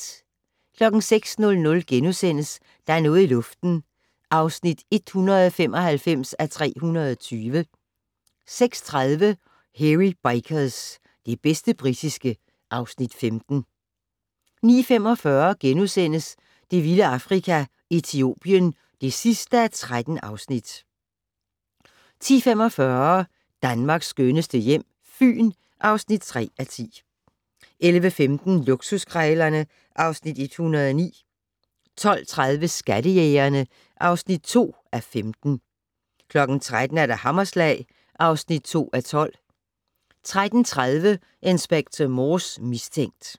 06:00: Der er noget i luften (195:320)* 06:30: Hairy Bikers - det bedste britiske (Afs. 15) 07:15: Til undsætning (47:48) 08:00: Hairy Bikers: Mors mad er den bedste (Afs. 5) 09:45: Det vilde Afrika - Etiopien (13:13)* 10:45: Danmarks skønneste hjem - Fyn (3:10) 11:15: Luksuskrejlerne (Afs. 109) 12:30: Skattejægerne (2:15) 13:00: Hammerslag (2:12) 13:30: Inspector Morse: Mistænkt